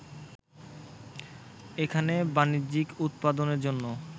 এখানে বাণিজ্যিক উৎপাদনের জন্য